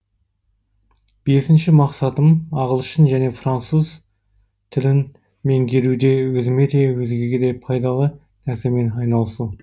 бесінші мақсатым ағылшын және француз тілін меңгеруде өзіме де өзгеге де пайдалы нәрсемен айналысу